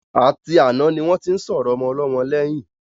A ti àná ni wọ́n tí ń sọ̀rọ̀ Ọmọlọ́mọ lẹ́yìn.